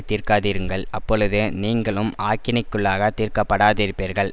தீர்க்காதிருங்கள் அப்பொழுது நீங்களும் ஆக்கினைக்குள்ளாகத் தீர்க்கப்படாதிருப்பீர்கள்